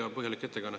Hea põhjalik ettekanne.